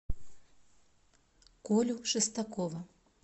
колю шестакова